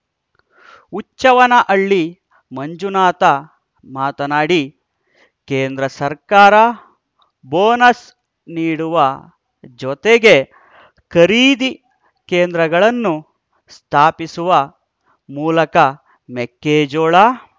ಹುಚ್ಚವ್ವನಹಳ್ಳಿ ಮಂಜುನಾಥ ಮಾತನಾಡಿ ಕೇಂದ್ರ ಸರ್ಕಾರ ಬೋನಸ್‌ ನೀಡುವ ಜೊತೆಗೆ ಖರೀದಿ ಕೇಂದ್ರಗಳನ್ನು ಸ್ಥಾಪಿಸುವ ಮೂಲಕ ಮೆಕ್ಕೆಜೋಳ